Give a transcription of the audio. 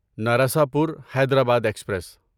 Narasapur Hyderabad express